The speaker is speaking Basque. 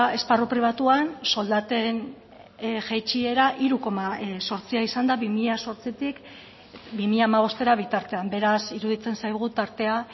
esparru pribatuan soldaten jaitsiera hiru koma zortzia izan da bi mila zortzitik bi mila hamabostera bitartean beraz iruditzen zaigu tartea